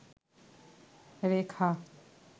রেখা